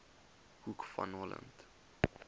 hoek van holland